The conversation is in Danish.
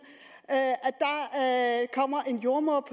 at kommer en jordemoder